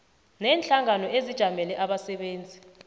neenhlangano ezijamele abasebenzi